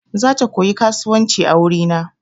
Zata koyi kasuwanci a wuri na.